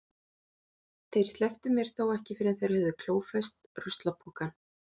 Þeir slepptu mér þó ekki fyrr en þeir höfðu klófest ruslapokann.